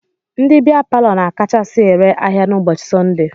Ndị bịa palọ na-akachasi ere ahịa n'ụbọchị Sọndee.